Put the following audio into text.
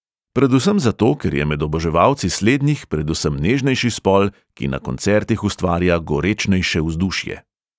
Predvsem zato, ker je med oboževalci slednjih predvsem nežnejši spol, ki na koncertih ustvarja gorečnejše vzdušje.